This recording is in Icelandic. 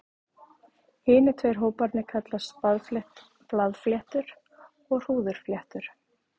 Hinir tveir hóparnir kallast blaðfléttur og hrúðurfléttur.